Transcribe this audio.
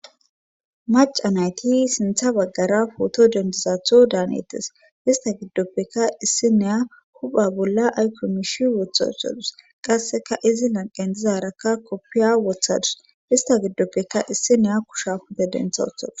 Maca nayti sintha baggara pooto dendizatho daanetes hista giddoppeka issi neya hupha bolla aykomishi wothashadus qasseka izi lanqen dzizarakka koppiya wothadus hista giddoppeka issi neya kusha hupe dentha otha